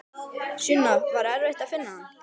Sunna: Var erfitt að finna hann?